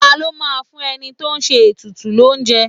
Ta ló máa ń fún ẹni tó ń ṣe ètùtù l'ounje?